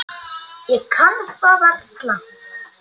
Ég kann það varla.